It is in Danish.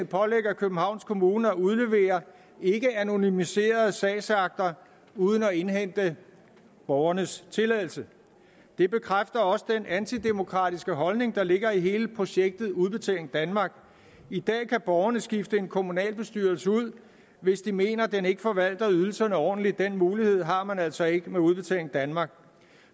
pålægger københavns kommune at udlevere ikkeanonymiserede sagsakter uden at indhente borgernes tilladelse det bekræfter også den antidemokratiske holdning der ligger i hele projektet udbetaling danmark i dag kan borgerne skifte en kommunalbestyrelse ud hvis de mener at den ikke forvalter ydelserne ordentligt den mulighed har man altså ikke med udbetaling danmark